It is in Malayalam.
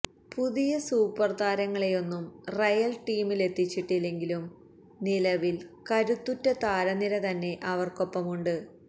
പുതിയ സൂപ്പര് താരങ്ങളെയൊന്നും റയല് ടീമിലെത്തിച്ചിട്ടില്ലെങ്കിലും നിലവില് കരുത്തുറ്റ താരനിരതന്നെ അവര്ക്കൊപ്പമുണ്ട്